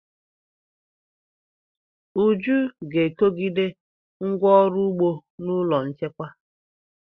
Uju ga-ekogide ngwá ọrụ ugbo n'ụlọ nchekwa.